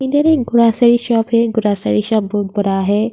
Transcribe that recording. इधर एक grocery shop है ग्रॉसरी शॉप बहुत बड़ा है।